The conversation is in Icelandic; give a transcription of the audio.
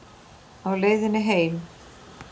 Á leiðinni heim?